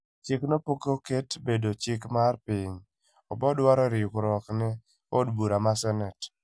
Chikno pokoket bedo chik mar piny , kwani oboduaro riwruokne odbura ma senate.